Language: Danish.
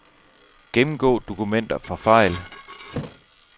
Gennemgå dokumenter for fejl.